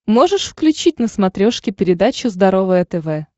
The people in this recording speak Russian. можешь включить на смотрешке передачу здоровое тв